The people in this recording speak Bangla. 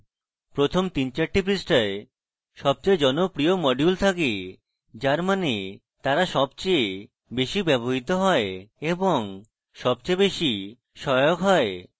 প্রথম তিন চারটি পৃষ্ঠায় সবচেয়ে জনপ্রিয় modules থাকে যার means তারা সবচেয়ে বেশী ব্যবহৃত হয় এবং সবচেয়ে সহায়ক